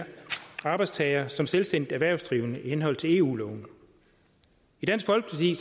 arbejdstager som selvstændig erhvervsdrivende i henhold til eu loven i dansk folkeparti